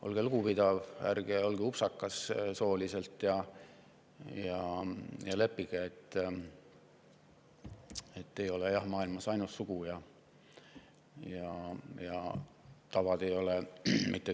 Olge lugupidav, ärge olge sooliselt upsakas ja leppige sellega, et maailmas ei ole ainust sugu.